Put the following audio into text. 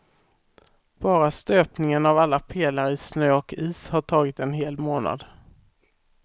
Bara stöpningen av alla pelare i snö och is har tagit en hel månad.